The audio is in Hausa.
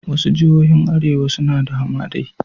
Wasu jihohin arewa suna da hamadai